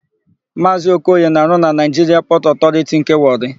Maazị Okoye na-arụ na Naịjiria Pọtụ Ọtọriti nke Wọrị.